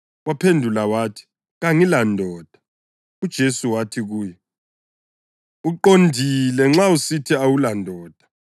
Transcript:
Waphendula wathi, “Kangilandoda.” UJesu wathi kuye, “Uqondile nxa usithi kawulandoda.